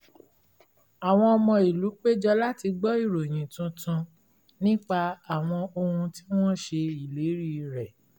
àwọn ọmọ ìlú péjọ láti gbọ ìròyìn tuntun nípa àwọn ohun tí wọ́n ṣe ìlérí rẹ̀